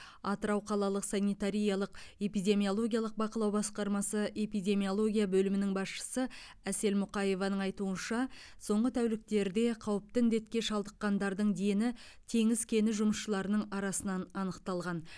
атырау қалалық санитариялық эпидемиологиялық бақылау басқармасы эпидемиология бөлімінің басшысы әсел мұқаеваның айтуынша соңғы тәуліктерде қауіпті індетке шалдыққандардың дені теңіз кені жұмысшыларының арасынан анықталған